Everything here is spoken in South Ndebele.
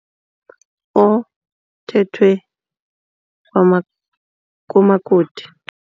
Othethwe kumakoti.